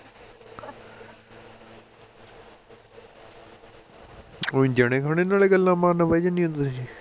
ਕੋਈ ਜਣੇ ਖਣੇ ਨਾਲ ਹੀ ਗੱਲਾਂ ਮਾਰਨ ਬਹਿ ਜਾਂਦੀਆਂ ਤੁਸੀਂ